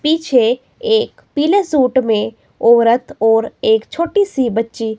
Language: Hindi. पीछे एक पीले सूट में औरत और एक छोटी सी बच्ची--